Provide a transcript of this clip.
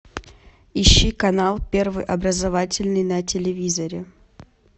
ищи канал первый образовательный на телевизоре